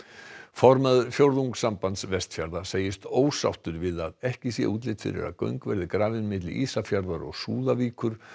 formaður Fjórðungssambands Vestfjarða segist ósáttur við að ekki sé útlit fyrir að göng verði grafin milli Ísafjarðar og Súðvíkur